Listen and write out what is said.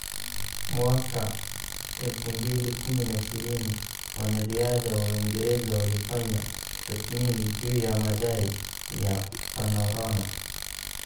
" Mwaka 2015, Wanariadha wa Uingereza walifanya tathmini juu ya madai ya Panorama.